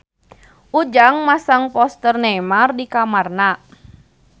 Ujang masang poster Neymar di kamarna